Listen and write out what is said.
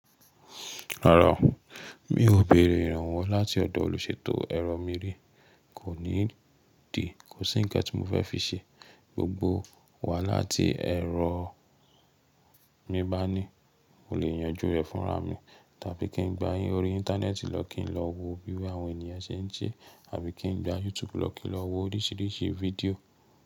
Rárá, mi ò béèrè ìrànwọ́ láti ọ̀dọ̀ olùṣètò ẹ̀rọ mìírí, kò ní dìí, kò sí nnkan tí mo fẹ́ fi ṣe. Gbogbo wàhálà tí ẹ̀rọ mi bá ní, mo lè yanjú rẹ̀ fúnra mi. Tàbí kí n gba yín orí Íńtánẹ́ẹ̀tì lọ kí n lọ wo bí àwọn ènìyàn ṣe ń se, àbí kí n gba YouTube lọ kí n lọ wo oríṣìíríṣìí fídíò.